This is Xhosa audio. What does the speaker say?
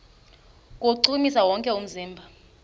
kuwuchukumisa wonke umzimba